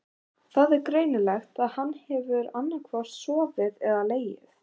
Það er greinilegt að hann hefur annaðhvort sofið þar eða legið.